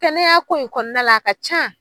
Kɛnɛya ko in kɔnɔna la a ka ca